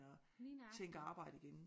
At tænke arbejde igen